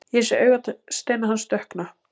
Ég sé augasteina hans dökkna.